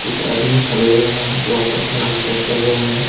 चार आदमी खड़े हुए हैं जो आपस में डिस्कस कर रहे हैं।